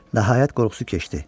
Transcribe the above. Nəhayət, qorxusu keçdi.